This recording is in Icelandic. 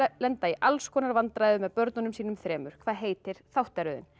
lenda í alls konar vandræðum með börnunum sínum þremur hvað heitir þáttaröðin